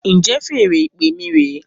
Njẹ feèrè ìpè mí re